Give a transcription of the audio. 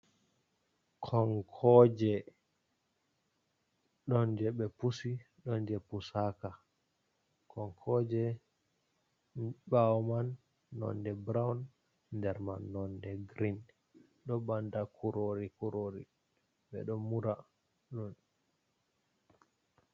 Konkoje, ɗon je ɓe pusi ɗon je pusaka. Konkoje ɓawo man nonɗe ɓurowon, nɗer man nonɗe girin. Ɗo ɓanɗa kurori kurori, ɓe ɗon mura ɗum.